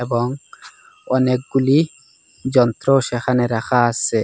এবং অনেকগুলি যন্ত্র সেখানে রাখা আসে।